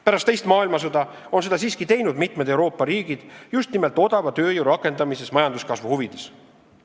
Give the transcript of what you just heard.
Pärast teist maailmasõda on mitmed Euroopa riigid seda siiski teinud, just nimelt rakendades odavat tööjõudu majanduskasvu huvides.